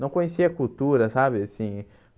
Não conhecia a cultura, sabe? Assim